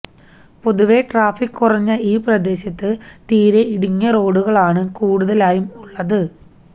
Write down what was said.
പൊതുവെ ട്രാഫിക് കുറഞ്ഞ ഈ പ്രദേശത്ത് തീരെ ഇടുങ്ങിയ റോഡുകളാണ് കൂടുതലായും ഉള്ളത്